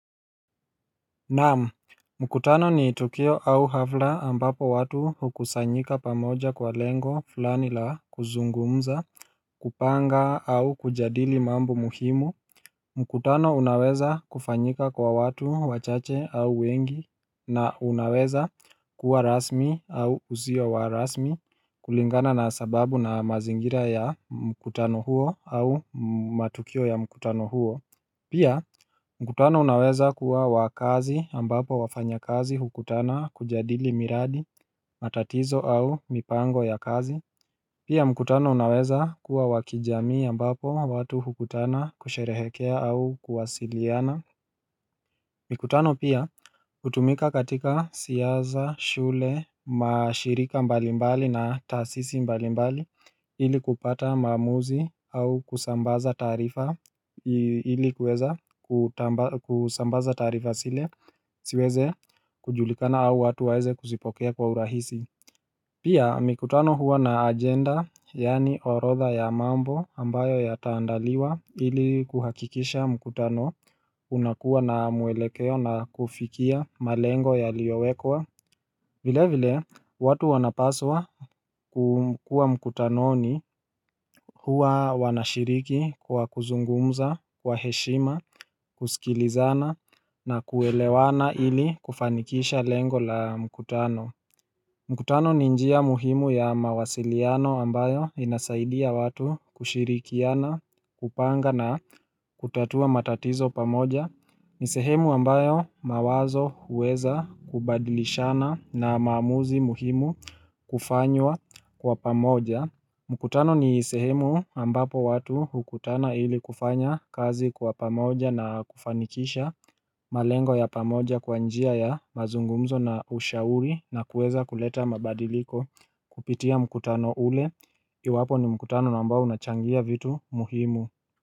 Nam, mkutano ni tukio au hafla ambapo watu hukusanyika pamoja kwa lengo fulani la kuzungumza, kupanga au kujadili mambo muhimu mkutano unaweza kufanyika kwa watu wachache au wengi na unaweza kuwa rasmi au uzio wa rasmi kulingana na sababu na mazingira ya mkutano huo au matukio ya mkutano huo Pia mkutano unaweza kuwa wa kazi ambapo wafanyakazi hukutana kujadili miradi matatizo au mipango ya kazi Pia mkutano unaweza kuwa wa kijamii ambapo watu hukutana kusherehekea au kuwasiliana Mikutano pia hutumika katika siaza, shule, mashirika mbalimbali na tasisi mbalimbali ili kupata maamuzi au kusambaza taarifa ili kuweza kusambaza taarifa zile siweze kujulikana au watu waeze kusipokea kwa urahisi Pia mikutano huwa na agenda yaani orodha ya mambo ambayo yataandaliwa ili kuhakikisha mikutano unakuwa na mwelekeo na kufikia malengo yaliyowekwa vile vile watu wanapaswa kukua mikutanoni huwa wanashiriki kwa kuzungumza, kwa heshima, kusikilizana na kuelewana ili kufanikisha lengo la mikutano mkutano ni njia muhimu ya mawasiliano ambayo inasaidia watu kushirikiana kupanga na kutatua matatizo pamoja. Ni sehemu ambayo mawazo huweza kubadilishana na maamuzi muhimu kufanywa kwa pamoja mkutano ni sehemu ambapo watu hukutana ili kufanya kazi kwa pamoja na kufanikisha malengo ya pamoja kwa njia ya mazungumzo na ushauri na kuweza kuleta mabadiliko kupitia mkutano ule Iwapo ni mkutano na ambao unachangia vitu muhimu.